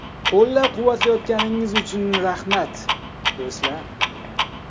Qo‘llab-quvvatlayotganingiz uchun rahmat, do‘stlar.